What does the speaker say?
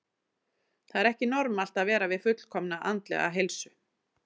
Það er ekki normalt að vera við fullkomna andlega heilsu.